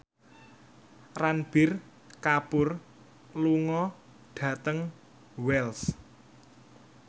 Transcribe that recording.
Ranbir Kapoor lunga dhateng Wells